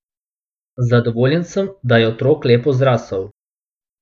Zadovoljen sem, da je otrok lepo zrasel.